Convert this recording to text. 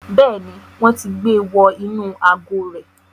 Bẹ́ẹ̀ni, wọn ti gbe wọ inú àgò rẹ̀